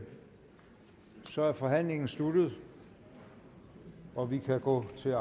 så er forhandlingen sluttet og vi kan gå til